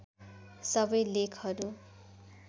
सबै लेखहरू